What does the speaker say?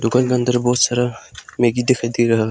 अंदर बहुत सारा मैगी दिखाई दे रहा--